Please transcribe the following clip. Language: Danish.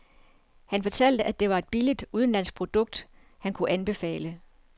Han fortalte at det var et billigt udenlandsk produkt, han kunne anbefale.